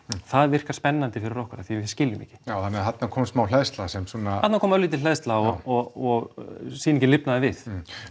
það virkar spennandi fyrir okkur af því að við skiljum ekki já þannig að þarna kom smá hleðsla sem svona þarna kom örlítil hleðsla og sýningin lifnaði við